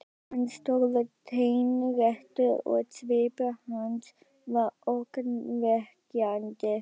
Hann stóð teinréttur og svipur hans var ógnvekjandi.